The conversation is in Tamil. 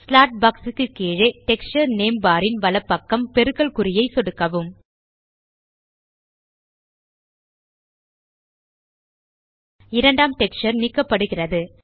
ஸ்லாட் பாக்ஸ் க்கு கீழே டெக்ஸ்சர் நேம் பார் ன் வலப்பக்கம் பெருக்கல் குறியை சொடுக்கவும் இரண்டாம் டெக்ஸ்சர் நீக்கப்படுகிறது